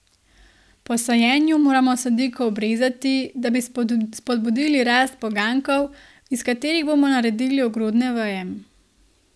Po sajenju moramo sadiko obrezati, da bi spodbudili rast poganjkov, iz katerih bomo naredili ogrodne veje.